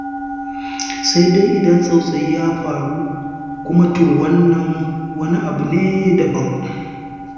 Sai dai idan tsautsayi ya faru kuma, to wannan kuma wani abu ne daban.